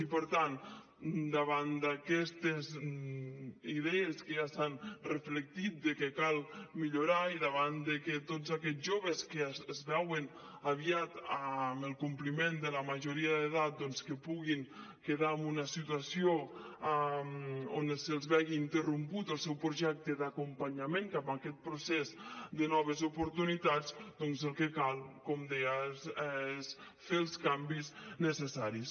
i per tant davant d’aquestes idees que ja s’ha reflectit que cal millorar i davant que tots aquests joves que es veuen aviat amb el compliment de la majoria d’edat es puguin quedar en una situació en què se’ls vegi interromput el seu projecte d’acompanyament cap a aquest procés de noves oportunitats doncs el que cal com deia és fer els canvis necessaris